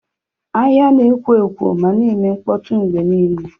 Ahịa na-ekwo ekwo ma na-eme mkpọtụ mgbe niile.